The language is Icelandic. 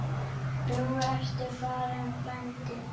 Nú ertu farinn, frændi.